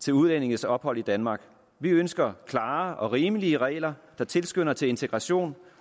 til udlændinges ophold i danmark vi ønsker klare og rimelige regler der tilskynder til integration